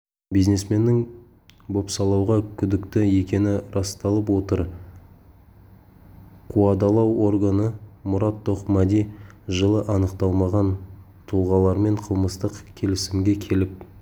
бизнесменнің бопсалауға күдікті екені расталып отыр қуадалау органы мұрат тоқмәди жылы анықталмаған тұлғалармен қылмыстық келісімге келіп